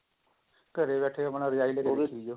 ਘਰੇ ਬੈਠੇ ਆਪਣਾ result ਦੇਖੀ ਜਾਓ